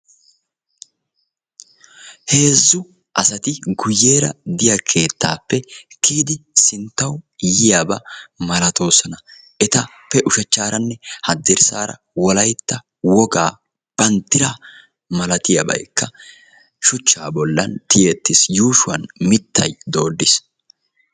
heezzu asati guuyyera diyaa keettappe kiyidi sinttawu yiyaba malattoosona etappe ushachcharanne haddirssara wolaytta wogaa banddira malatiyaabay shuchcha bollan tiyyeti uttiis yuushshuwan mittay dooddiis